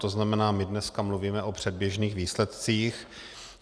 To znamená, my dneska mluvíme o předběžných výsledcích.